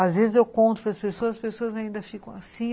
Às vezes eu conto para as pessoas, as pessoas ainda ficam assim.